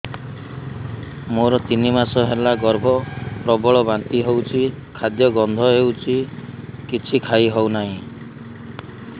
ମୋର ତିନି ମାସ ହେଲା ଗର୍ଭ ପ୍ରବଳ ବାନ୍ତି ହଉଚି ଖାଦ୍ୟ ଗନ୍ଧ ହଉଚି କିଛି ଖାଇ ହଉନାହିଁ